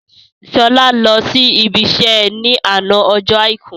Sọlá lọ sí ibi iṣẹ́ ni àná ọjọ́ Àìkú